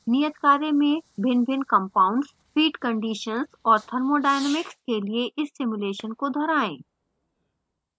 नियत कार्य में भिन्नभिन्न compounds feed conditions और thermodynamics के लिए इस simulation को दोहराएँ